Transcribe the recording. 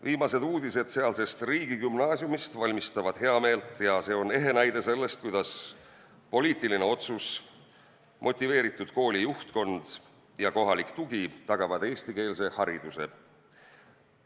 Viimased uudised sealse riigigümnaasiumi kohta valmistavad heameelt ja see on ehe näide sellest, kuidas poliitiline otsus, motiveeritud koolijuhtkond ja kohalik tugi tagavad eestikeelse hariduse.